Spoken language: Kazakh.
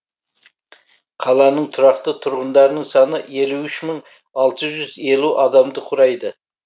қаланың тұрақты тұрғындарының саны елу үш мың алты жүз елу адамды құрайды